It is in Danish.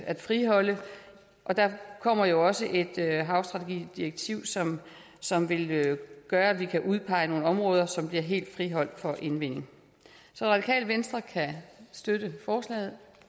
at friholde der kommer jo også et havstrategidirektiv som som vil gøre at vi kan udpege nogle områder som bliver helt friholdt for indvinding så radikale venstre kan støtte forslaget